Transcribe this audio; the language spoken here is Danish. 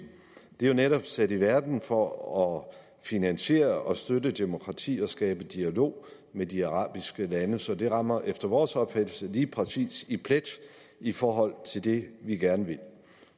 det er jo netop sat i verden for at finansiere og støtte demokratier og skabe dialog med de arabiske lande så det rammer efter vores opfattelse lige præcis plet i forhold til det vi gerne vil